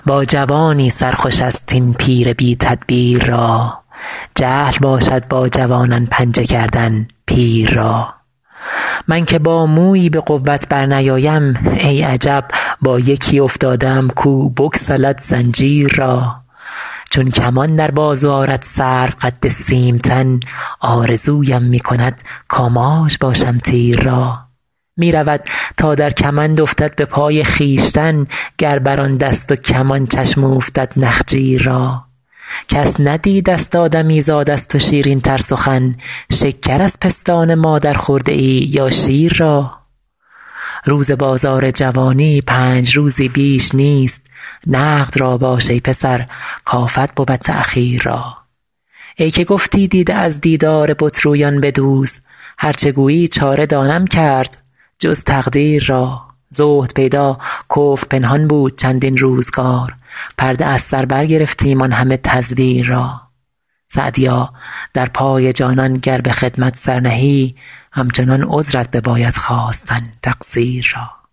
با جوانی سر خوش است این پیر بی تدبیر را جهل باشد با جوانان پنجه کردن پیر را من که با مویی به قوت برنیایم ای عجب با یکی افتاده ام کو بگسلد زنجیر را چون کمان در بازو آرد سروقد سیم تن آرزویم می کند کآماج باشم تیر را می رود تا در کمند افتد به پای خویشتن گر بر آن دست و کمان چشم اوفتد نخجیر را کس ندیدست آدمیزاد از تو شیرین تر سخن شکر از پستان مادر خورده ای یا شیر را روز بازار جوانی پنج روزی بیش نیست نقد را باش ای پسر کآفت بود تأخیر را ای که گفتی دیده از دیدار بت رویان بدوز هر چه گویی چاره دانم کرد جز تقدیر را زهد پیدا کفر پنهان بود چندین روزگار پرده از سر برگرفتیم آن همه تزویر را سعدیا در پای جانان گر به خدمت سر نهی همچنان عذرت بباید خواستن تقصیر را